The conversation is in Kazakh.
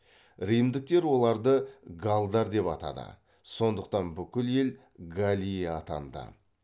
римдіктер оларды галлдар деп атады сондықтан бүкіл ел галлия атанды